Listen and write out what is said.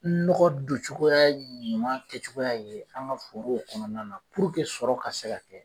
Nɔgɔ docogoya ɲuman kɛcogoya ye an ŋa fogow kɔnɔna na sɔrɔ ka se ka kɛ